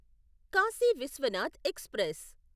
Kashi Vishwanath express